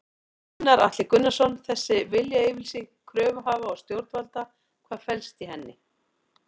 Gunnar Atli Gunnarsson: Þessi viljayfirlýsing kröfuhafa og stjórnvalda, hvað felst í henni?